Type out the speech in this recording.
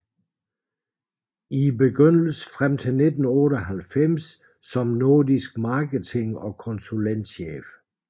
I begyndelsen frem til 1998 som nordisk marketing og konsulentchef